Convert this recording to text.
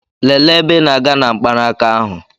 Lelee ebe ị na-aga na mkpanaka ahụ!